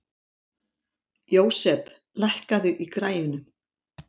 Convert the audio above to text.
Jósep, lækkaðu í græjunum.